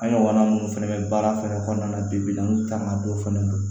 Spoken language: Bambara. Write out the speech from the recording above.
An ɲɔgɔna minnu fɛnɛ bɛ baara fɛnɛ kɔnɔna na bibi in na an taamandon fana don